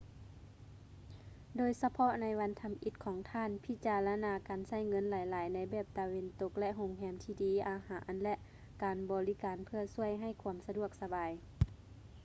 ໂດຍສະເພາະໃນວັນທໍາອິດຂອງທ່ານ ພິຈາລະນາການໃຊ້ເງິນຫຼາຍໆໃນແບບຕາເວັນຕົກ ແລະ ໂຮງແຮມທີ່ດີ ອາຫານ ແລະ ການບໍລິການເພື່ອຊ່ວຍໃຫ້ຄວາມສະດວກສະບາຍ